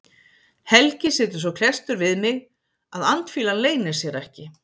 Helgi situr svo klesstur við mig að andfýlan leynir sér ekki.